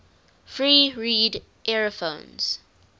free reed aerophones